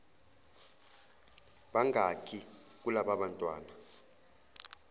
bangaki kulaba bantwana